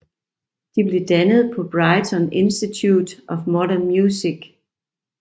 De blev dannet på Brighton Institute of Modern Music